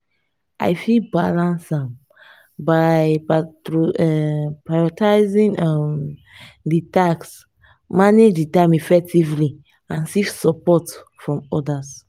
i fit balance am by prioritizing um di tasks manage di time effectively and seek support from odas.